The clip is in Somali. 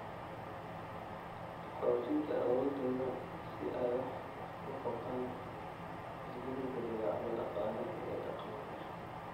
Xoojinta awooddooda si ay wax uga qabtaan isbeddellada dabeecadda dhaqaale iyo dhaqan-bulsho.